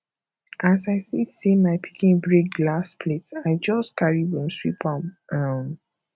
as i see sey my pikin break glass plate i just carry broom sweep am um